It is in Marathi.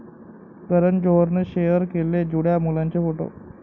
करण जोहरनं शेअर केले जुळ्या मुलांचे फोटो